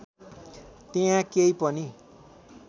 त्यहाँ केही पनि